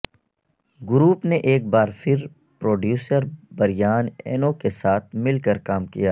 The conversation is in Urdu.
گروپ نے ایک بار پھر پروڈیوسر بریان اینو کے ساتھ مل کر کام کیا